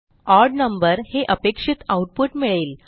ओड नंबर हे अपेक्षित आऊटपुट मिळेल